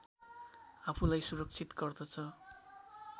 आफूलाई सुरक्षित गर्दछ